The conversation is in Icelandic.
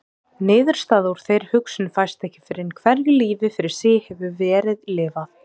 Niðurstaða úr þeirri hugsun fæst ekki fyrr en hverju lífi fyrir sig hefur verið lifað.